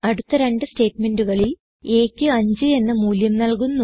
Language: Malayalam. അടുത്ത രണ്ട് സ്റ്റേറ്റ്മെന്റുകളിൽ aക്ക് 5 എന്ന മൂല്യം നല്കുന്നു